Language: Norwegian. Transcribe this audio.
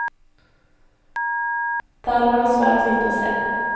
Der var det svært lite å se.